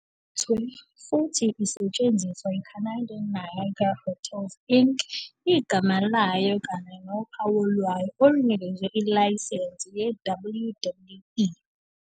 Yayiphethwe futhi isetshenziswa yi-Canadian Niagara Hotels Inc., igama layo kanye nophawu lwayo olunikezwe ilayisense yi-WWE.